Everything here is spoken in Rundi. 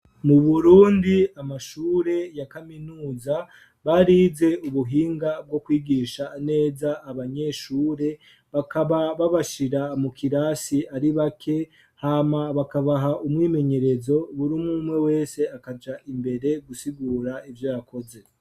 Mu burundi amashure ya kaminuza barize ubuhinga bwo kwigisha neza abanyeshure, bakaba babashira mu kirasi ari bake hama bakabaha umwimenyerezo, buri umwe wese akaja imbere gusigura ivyo yakoze.